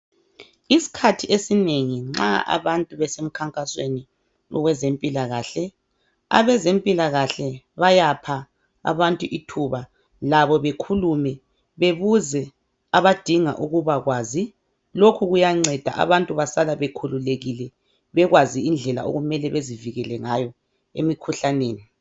Isikhathi esinengi nxa abantu besemkhankasweni owezempilakahle. Abazempilakahle bayapha abantu ithuba labo bekhulume bebuze abadinga ukubakwazi. Lokhu kuyanceda abantu basala bekhululekile bekwazi. indlela okumele bezivikele ngayo emikhuhlaneni.